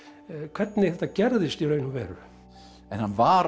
hvernig þetta gerðist í raun og veru en hann var